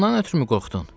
Bundan ötrümü qorxdun?